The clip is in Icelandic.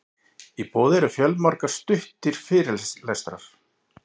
í boði eru fjölmargir stuttir fyrirlestrar